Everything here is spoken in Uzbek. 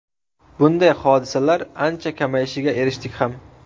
Bunday hodisalar ancha kamayishiga erishdik ham.